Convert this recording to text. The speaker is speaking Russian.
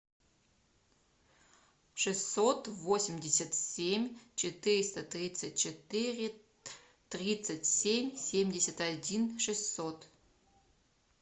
шестьсот восемьдесят семь четыреста тридцать четыре тридцать семь семьдесят один шестьсот